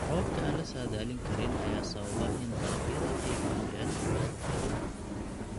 Roobabka aan la saadaalin karin ayaa sababa in dalagyada ay waayaan biyo ku filan.